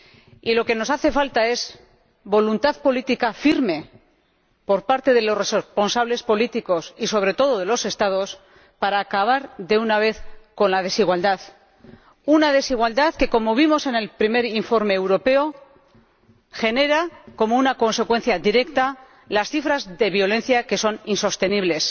Y lo que nos hace falta es voluntad política firme por parte de los responsables políticos, y sobre todo de los Estados, para acabar de una vez con la desigualdad, una desigualdad que, como vimos en el primer informe europeo, genera como una consecuencia directa unas cifras de violencia que son insostenibles.